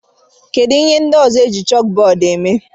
Kedu ihe ndị ọzọ eji chókbọọdụ èmè?